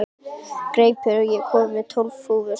Greipur, ég kom með tólf húfur!